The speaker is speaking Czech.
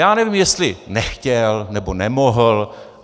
Já nevím, jestli nechtěl, nebo nemohl.